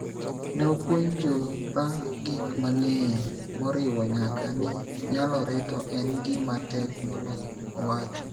Ne apuonjora gik mang�eny moriwo nyaka ni nyalore to en gima tek moloyo, owacho.